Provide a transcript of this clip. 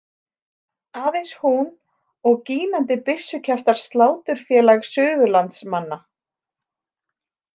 Aðeins hún, og gínandi byssukjaftar Sláturfélag Suðurlands- manna.